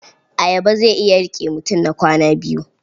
Ayaba zai iya riƙe mutum na kwana biyu.